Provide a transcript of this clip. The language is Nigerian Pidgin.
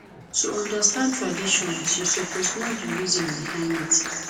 to understand traditions you suppose know the reason behind it